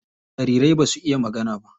Jariri basu iya magana ba.